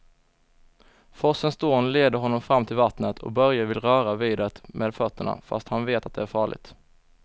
Forsens dån leder honom fram till vattnet och Börje vill röra vid det med fötterna, fast han vet att det är farligt.